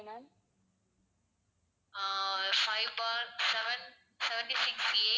ah five bar seven seventy-sixA